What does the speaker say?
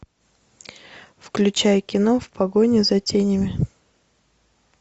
включай кино в погоне за тенями